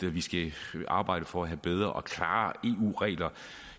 vi skal arbejde for at få bedre og klarere eu regler